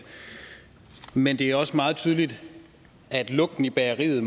men det er også meget tydeligt at lugten i bageriet